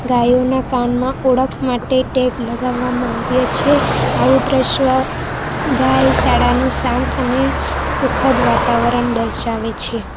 ગાયોના કાનમાં ઓળખ માટે ટેપ લગાવવામાં આવ્યા છે આવું દ્રશ્ય ગાય શાળાનું શાંત અને સુખદ વાતાવરણ દર્શાવે છે.